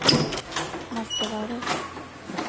merkevarer